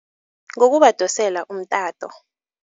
Ngokubadosela umtato.